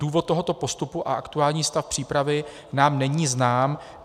Důvod tohoto postupu a aktuální stav přípravy nám není znám.